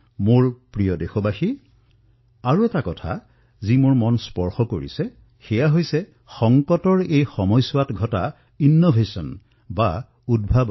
মোৰ মৰমৰ দেশবাসীসকল পুনৰবাৰ আৰু এটা কথাই মোৰ মন স্পৰ্শ কৰিছে সংকটৰ এই মুহূৰ্তত উদ্ভাৱন